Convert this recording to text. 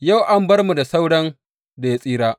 Yau an bar mu da sauran da ya tsira.